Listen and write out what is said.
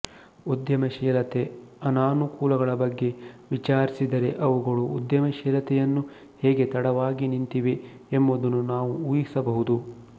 ಉದ್ಯಮಶೀಲತೆ ಅನಾನುಕೂಲಗಳ ಬಗ್ಗೆ ವಿಚಾರಿಸಿದರೆ ಅವುಗಳು ಉದ್ಯಮಶೀಲತೆಯನ್ನು ಹೇಗೆ ತಡವಾಗಿ ನಿಂತಿವೆ ಎಂಬುದನ್ನು ನಾವು ಊಹಿಸಬಹುದು